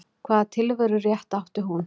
Hvaða tilverurétt átti hún?